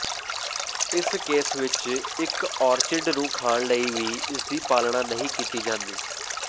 ਇਸ ਕੇਸ ਵਿਚ ਇਕ ਔਰਚਿਡ ਨੂੰ ਖਾਣ ਲਈ ਵੀ ਇਸਦੀ ਪਾਲਣਾ ਨਹੀਂ ਕੀਤੀ ਜਾਂਦੀ